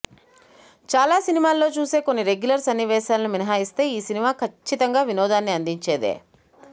చాలా సినిమాల్లో చూసే కొన్ని రెగ్యులర్ సన్నివేశాలను మినహాయిస్తే ఈ సినిమా ఖచ్చితంగా వినోదాన్ని అందించేదే